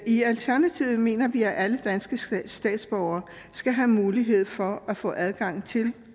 i alternativet mener vi at alle danske statsborgere skal have mulighed for at få adgang til